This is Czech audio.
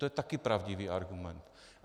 To je taky pravdivý argument.